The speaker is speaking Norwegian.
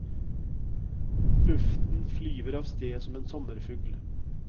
Luften flyver avsted som en sommerfugl.